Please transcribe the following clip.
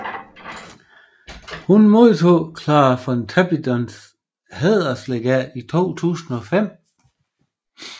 Hun modtog Clara Pontoppidans Hæderslegat i 2005